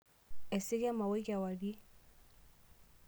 Eisika emaoi kewarie.